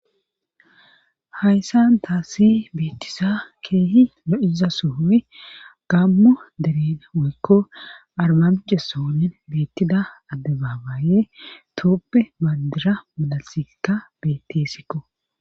Hayssan taassi beettisa keehi lo'iza suhuy gammu deren woykko armamjessoonin beettida adde baabaaye tuuppe baadira malalsikka beettessikko.